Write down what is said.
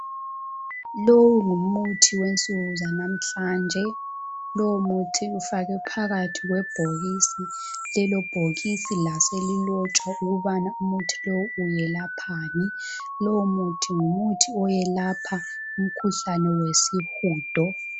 Lowu ngumuthi wensuku zanamhlanje .Lowumuthi ufakwe phakathi kwebhokisi lelo bhokisi laselilotshwa ukubana umuthi lowu uyelaphani Lowu muthi ngumuthi oyelapha umkhuhlane wesihudo